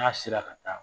N'a sera ka taa